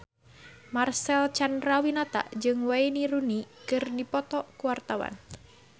Marcel Chandrawinata jeung Wayne Rooney keur dipoto ku wartawan